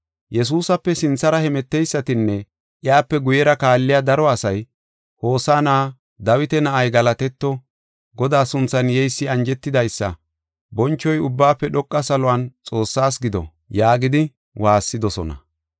Yesuusape sinthara hemeteysatinne iyape guyera kaalliya daro asay, “Hosaana! Dawita na7ay galatetto! Godaa sunthan yeysi anjetidaysa! Bonchoy Ubbaafe Dhoqa Saluwan Xoossaas gido!” yaagidi waassidosona.